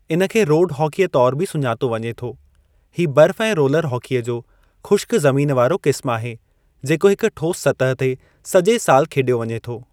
इन खे रोड हॉकीअ तौर ते बि सुञातो वञे थो, ही बर्फ़ ऐं रोलर हॉकीअ जो ख़ुश्क ज़मीन वारो क़िस्मु आहे जेको हिक ठोस सतह ते सॼे साल खेॾियो वञे थो।